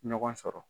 Ɲɔgɔn sɔrɔ